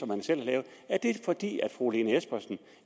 man selv har lavet er det fordi fru lene espersen